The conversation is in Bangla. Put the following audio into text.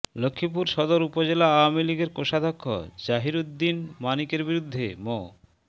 লক্ষ্মীপুর সদর উপজেলা আওয়ামী লীগের কোষাধ্যক্ষ জহির উদ্দিন মানিকের বিরুদ্ধে মো